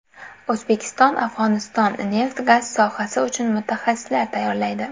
O‘zbekiston Afg‘oniston neft-gaz sohasi uchun mutaxassislar tayyorlaydi.